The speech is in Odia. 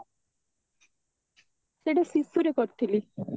ସେଈଟା ଶିଶୁ ରୁ କରିଥିଲି